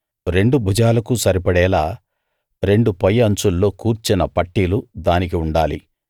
రెండు భుజాలకు సరిపడేలా రెండు పై అంచుల్లో కూర్చిన పట్టీలు దానికి ఉండాలి